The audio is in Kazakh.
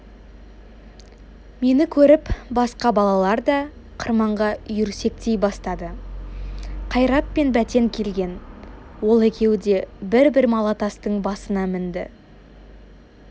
мені көріп басқа балалар да қырманға үйірсектей бастады қайрат пен бәтен келген ол екеуі де бір-бір малатастың басына мінді